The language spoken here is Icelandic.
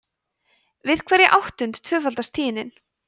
við hverja áttund tvöfaldast tíðnin